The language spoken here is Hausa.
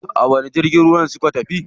A wani jirgin suka tafi?